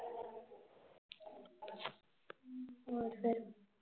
ਹੋਰ ਫਿਰ?